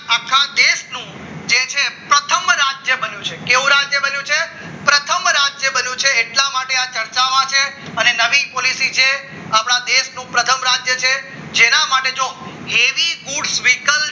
રાજ્ય બને છે કેવું રાજ્ય બન્યું છે પ્રથમ રાજ્ય બન્યું છે એટલા માટે આ ચર્ચામાં છે અને નવી પોલીસી છે આપણા દેશનું પ્રથમ રાજ્ય છે તેના માટે જો એવી